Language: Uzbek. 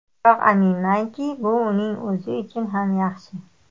Biroq aminmanki, bu uning o‘zi uchun ham yaxshi.